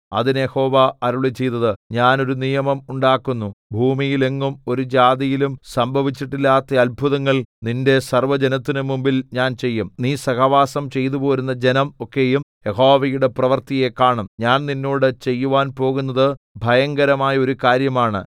അതിന് യഹോവ അരുളിച്ചെയ്തത് ഞാൻ ഒരു നിയമം ഉണ്ടാക്കുന്നു ഭൂമിയിലെങ്ങും ഒരു ജാതിയിലും സംഭവിച്ചിട്ടില്ലാത്ത അത്ഭുതങ്ങൾ നിന്റെ സർവ്വജനത്തിനും മുമ്പിൽ ഞാൻ ചെയ്യും നീ സഹവാസം ചെയ്തുപോരുന്ന ജനം ഒക്കെയും യഹോവയുടെ പ്രവൃത്തിയെ കാണും ഞാൻ നിന്നോട് ചെയ്യുവാൻ പോകുന്നത് ഭയങ്കരമായ ഒരു കാര്യമാണ്